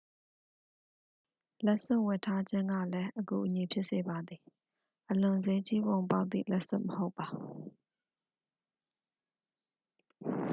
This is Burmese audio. လက်စွပ်ဝတ်ထားခြင်းကလည်း အကူအညီဖြစ်စေပါသည် အလွန်စျေးကြီးပုံပေါက်သည့်လက်စွပ်မဟုတ်ပါ။